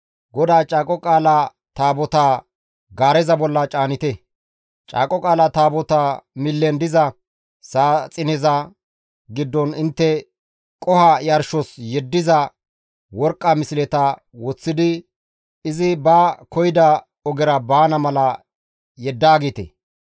GODAA Caaqo Qaala Taabotaa gaareza bolla caanite; Caaqo Qaala Taabotaa millen diza saaxineza giddon intte qoho yarshos yeddiza worqqa misleta woththidi izi ba koyida ogera baana mala yeddaagite.